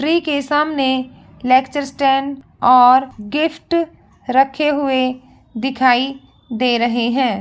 Tree के सामने lecture stand और गिफ्ट रखे हुए दिखाई दे रहे है।